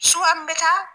bɛ taa